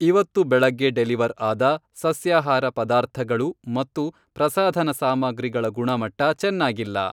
ಇವತ್ತು ಬೆಳಗ್ಗೆ ಡೆಲಿವರ್ ಆದ ಸಸ್ಯಾಹಾರ ಪದಾರ್ಥಗಳು ಮತ್ತು ಪ್ರಸಾಧನ ಸಾಮಗ್ರಿಗಳ ಗುಣಮಟ್ಟ ಚೆನ್ನಾಗಿಲ್ಲ.